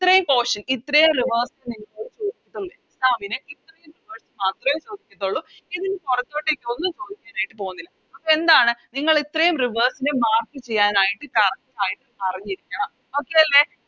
ഇത്രേം Portion ഇത്രേം Rivers നെ ഇതിന് പുറത്തോട്ടേക്ക് ഒന്നും ചോയിക്കാനായിട്ട് പോകുന്നില്ല അപ്പൊ എന്താണ് നിങ്ങഇത്രെം Rivers നെ Mark ചെയ്യാനായിട്ട് Correct ആയിട്ട് അറിഞ്ഞിരിക്കണം Okay അല്ലെ